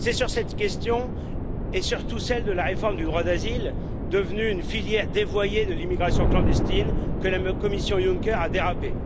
C'est sur cette question, et surtout celle de la réforme du droit d'asile, devenue une filière dévoyée de l'immigration clandestine, que la Commission Juncker a dérapé.